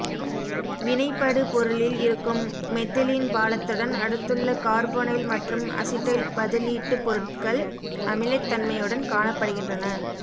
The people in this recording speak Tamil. வினைபடு பொருளில் இருக்கும் மெத்திலீன் பாலத்துடன் அடுத்துள்ள கார்போனைல் மற்றும் அசிட்டைல் பதிலீட்டுப் பொருட்கள் அமிலத்தன்மையுடன் காணப்படுகின்றன